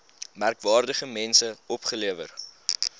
merkwaardige mense opgelewer